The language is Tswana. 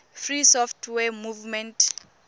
free software movement